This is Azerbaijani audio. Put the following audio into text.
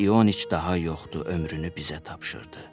Kuzma İoniç daha yoxdur, ömrünü bizə tapşırdı.